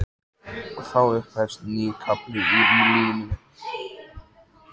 Og þá upphefst nýr kafli í lífi mínu.